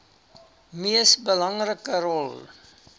mees belangrike rol